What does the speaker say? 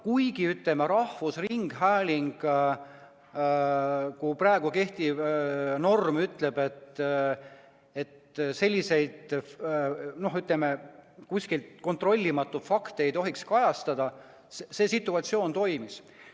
Kuigi rahvusringhäälingu seaduse praegu kehtiv norm ütleb, et selliseid kontrollimata fakte ei tohi kajastada, see situatsioon toimus.